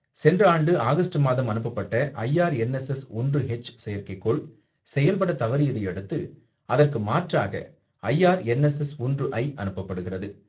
சென்ற ஆண்டு ஆகஸ்ட் மாதம் அனுப்பப்பட்ட ஐஆர்என்எஸ்எஸ் ஒன்று ஹெச் செயற்கைக்கோள், செயல்பட தவறியதையடுத்து, அதற்கு மாற்றாக ஐஆர்என்எஸ்எஸ் ஒன்று ஐ அனுப்பப்படுகிறது.